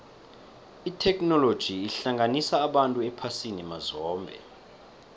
itheknoloji ihlanganisa abantu ephasini mazombe